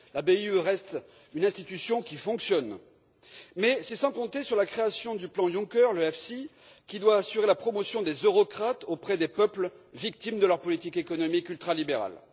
La BEI reste une institution qui fonctionne, mais c'est sans compter sur la création du plan Juncker, l'EFSI, qui doit assurer la promotion des eurocrates auprès des peuples victimes de leur politique économique ultralibérale.